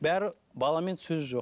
бәрі баламен сөз жоқ